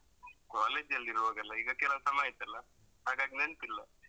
ಕಾಲೇಜಲ್ಲಿರುವಾಗಲ್ಲ ಈಗ ಕೆಲವು ಸಮಯ ಆಯಿತಲ್ಲ ಹಾಗಾಗಿ ನೆನ್ಪಿಲ್ಲ.